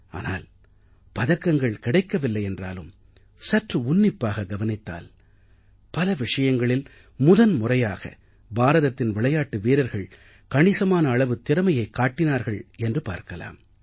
ஆனால் பதக்கங்கள் கிடைக்கவில்லை என்றாலும் சற்று உன்னிப்பாக கவனித்தால் பல விஷயங்களில் முதன் முறையாக பாரதத்தின் விளையாட்டு வீரர்கள் கணிசமான அளவு திறமையைக் காட்டினார்கள் என்று பார்க்கலாம்